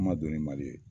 An ma dɔn ni mali ye